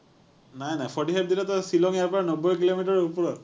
নাই নাই। forty five দিলেটো শ্বিলং ইয়াৰ পৰা নব্বৈ কিলোমিটাৰৰ ওপৰত।